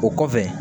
O kɔfɛ